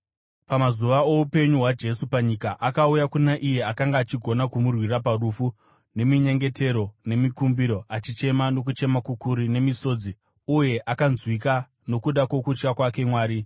Pamazuva oupenyu hwaJesu panyika, akauya kuna iye akanga achigona kumurwira parufu neminyengetero nemikumbiro, achichema nokuchema kukuru nemisodzi, uye akanzwika nokuda kwokutya kwake Mwari.